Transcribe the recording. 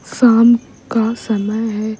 साम का समय है --